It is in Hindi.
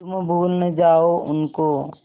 तुम भूल न जाओ उनको